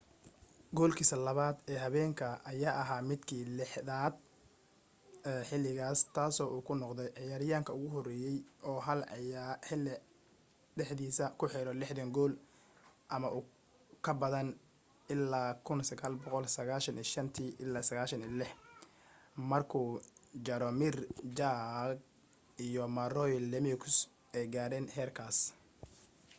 goolkiisa labaad ee habeenka ayaa ahaa midkiisa 60aad ee xiligaas taasoo uu ku noqday ciyaaryahanka ugu horeeyo oo hal xili dhexdiisa ku xiro 60 gool ama ka badan ilaa 1995-96 markuu jaromir jagr iyo mario lemieux ay gaareen heerkaas